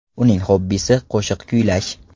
Uning xobbisi – qo‘shiq kuylash.